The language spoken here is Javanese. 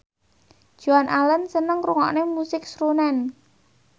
Joan Allen seneng ngrungokne musik srunen